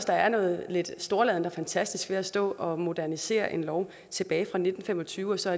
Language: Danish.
der er noget lidt storladent over og fantastisk ved at stå og modernisere en lov tilbage fra nitten fem og tyve og så